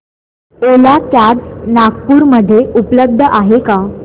ओला cabs Nagpur मध्ये उपलब्ध आहे का